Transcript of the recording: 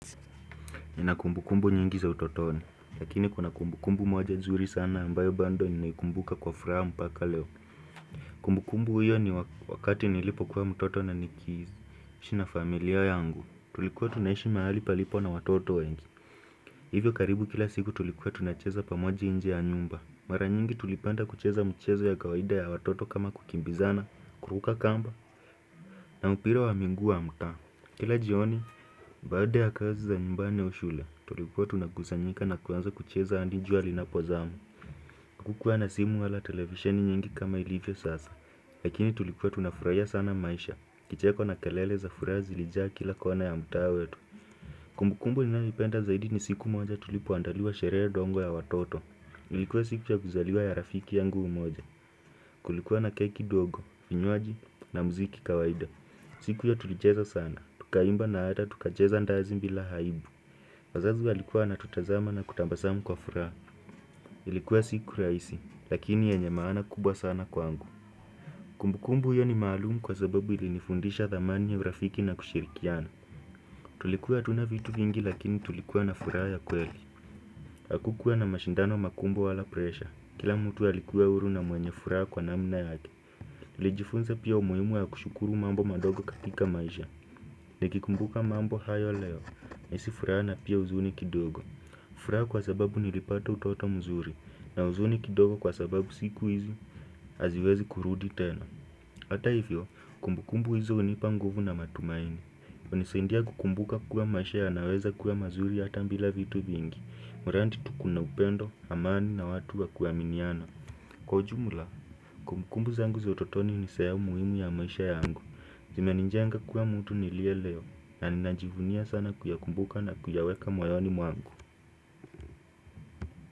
Nina kumbukumbu nyingi za utotoni, lakini kuna kumbukumbu moja nzuri sana ambayo bado ninaikumbuka kwa furaha mpaka leo. Kumbukumbu hiyo ni wakati nilipo kuwa mtoto na nikiishi na familia yangu, tulikuwa tunaishi mahali palipo na watoto wengi. Hivyo karibu kila siku tulikuwa tunacheza pamoja nje ya nyumba. Mara nyingi tulipanda kucheza mchezo ya kawaida ya watoto kama kukimbizana, kuruka kamba, na upira wa miguu wa mtaa. Kila jioni, baada ya kazi za nyumbani au shule, tulikuwa tunakusanyika na kuanza kucheza adi jua linapozama. Hakukuwa na simu wala televisheni nyingi kama ilivyo sasa, lakini tulikuwa tunafurahia sana maisha. Kicheko na kelele za furaha zilijaa kila kona ya mtaa wetu. Kumbukumbu ninayoipenda zaidi ni siku moja tulipoandaliwa sherehe ndogo ya watoto. Ilikuwa siku ya kuzaliwa ya rafiki yangu mmoja, kulikuwa na keki dogo, vinywaji na muziki kawaida. Siku hio tulicheza sana, tukaimba na hata tukacheza ndazi bila aibu wazazi walikuwa wanatutazama na kutambasamu kwa furaha Ilikuwa siku rahisi, lakini yanye maana kubwa sana kwangu Kumbukumbu hiyo ni maalum kwa sababu ilinifundisha dhamani ya urafiki na kushirikiana Tulikuwa hatuna vitu vingi lakini tulikuwa na furaha ya kweli Hakukuwa na mashindano makubwa wala presha kila mtu alikuwa huru na mwenye furaha kwa namna yake Tulijifunza pia umuhimu ya kushukuru mambo madogo katika maisha Nikikumbuka mambo hayo leo, nahisi furaha na pia huzuni kidogo furaha kwa sababu nilipata utoto mzuri, na huzuni kidogo kwa sababu siku hizi, haziwezi kurudi tena Hata hivyo, kumbukumbu hizi hunipa nguvu na matumaini hunisaidia kukumbuka kuwa maisha yanaweza kuwa mazuri hata bila vitu vingi mradi tu kuna upendo, amani na watu wa kuaminiana Kwa ujumla, kumbukumbu zangu za utotoni ni sehemu muhimu ya maisha yangu imenijenga kuwa mtu nilie leo na ninajivunia sana kuyakumbuka na kuyaweka moyoni mwangu.